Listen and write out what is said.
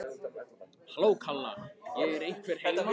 Halló, kalla ég, er einhver heima?